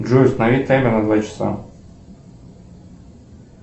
джой установи таймер на два часа